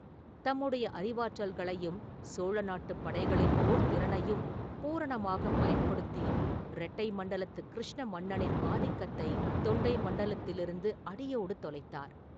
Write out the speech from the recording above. தம்முடைய அறிவாற்றல்களையும் சோழ நாட்டுப் படைகளின் போர்த் திறனையும் பூரணமாகப் பயன்படுத்தி ரெட்டை மண்டலத்துக் கிருஷ்ண மன்னனின் ஆதிக்கத்தை தொண்டை மண்டலத்திலிருந்து அடியோடு தொலைத்தார்.